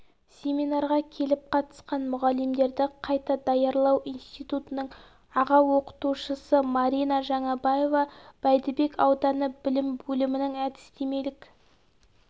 семинарға келіп қатысқан мұғалімдерді қайта даярлау институтының аға оқытушысы марина жаңабаева бәйдібек ауданы білім бөлімінің әдістемелік